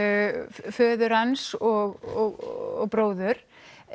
föður hans og bróður